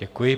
Děkuji.